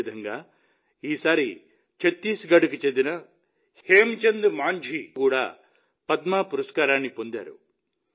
అదేవిధంగా ఈసారి ఛత్తీస్గఢ్కు చెందిన హేమ్చంద్ మాంఝీ కూడా పద్మ పురస్కారాన్ని పొందారు